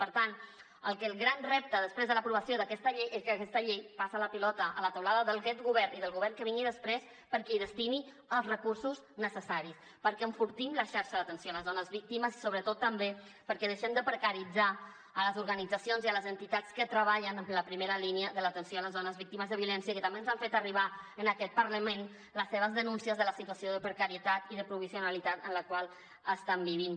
per tant el gran repte després de l’aprovació d’aquesta llei és que aquesta llei passa la pilota a la teulada d’aquest govern i del govern que vingui després perquè hi destini els recursos necessaris perquè enfortim la xarxa d’atenció a les dones víctimes i sobretot també perquè deixem de precaritzar les organitzacions i les entitats que treballen en la primera línia de l’atenció a les dones víctimes de violència que també ens han fet arribar en aquest parlament les seves denúncies de la situació de precarietat i de provisionalitat en la qual estan vivint